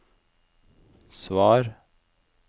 svar